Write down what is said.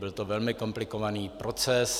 Byl to velmi komplikovaný proces.